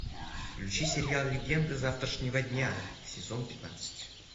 включи сериал легенды завтрашнего дня сезон пятнадцать